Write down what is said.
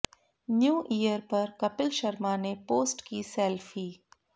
new year पर कपिल शर्मा ने post की सेल्फी